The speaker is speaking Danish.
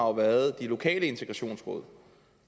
har været de lokale integrationsråd